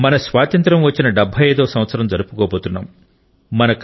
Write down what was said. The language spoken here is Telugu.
మనం స్వాతంత్యం వచ్చిన 75 వ సంవత్సరం జరుపుకోబోతున్నాం